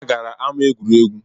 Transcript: Ha gara ama egwuregwu